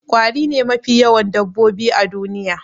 Ƙwari ne mafi yawan dabbobi a duniya